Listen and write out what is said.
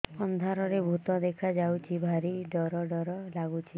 ଅନ୍ଧାରରେ ଭୂତ ଦେଖା ଯାଉଛି ଭାରି ଡର ଡର ଲଗୁଛି